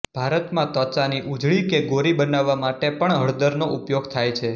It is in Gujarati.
ભારતમાં ત્વચાની ઉજળી કે ગોરી બનાવવા માટે પણ હળદરનો ઉપયોગ થાય છે